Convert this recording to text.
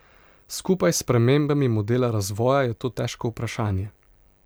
Skupaj s spremembami modela razvoja je to težko vprašanje.